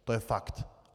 To je fakt!